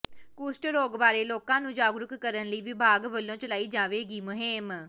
ਕੁਸ਼ਟ ਰੋਗ ਬਾਰੇ ਲੋਕਾਂ ਨੂੰ ਜਾਗਰੂਕ ਕਰਨ ਲਈ ਵਿਭਾਗ ਵੱਲੋਂ ਚਲਾਈ ਜਾਵੇਗੀ ਮੁਹਿੰਮ